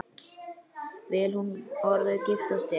Vill hún orðið giftast þér?